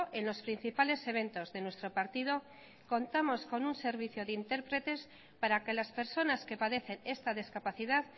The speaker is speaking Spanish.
en los principales eventos de nuestro partido contamos con un servicio de intérpretes para que las personas que padecen esta discapacidad